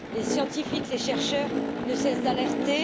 Les scientifiques, les chercheurs ne cessent d'alerter.